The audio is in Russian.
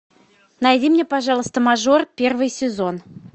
найди мне пожалуйста мажор первый сезон